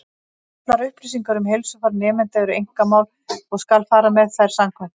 Allar upplýsingar um heilsufar nemenda eru einkamál, og skal fara með þær samkvæmt því.